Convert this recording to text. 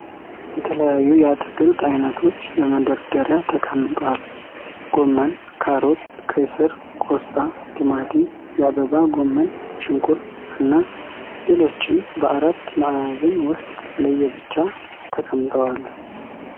የተለያዩ የአትክልት አይነቶች በመደርደያ ተቀምጧል። ጎመን፣ ካሮት፣ ቀይ ስር፣ ቆስጣ፣ ቲማቲም፣ የአበባ ጎመን፣ ሽንኩርት፣ እና ሌሎችም በአራት ማዕዘን ዉስጥ ለየብቻ ተቀምጠዋል።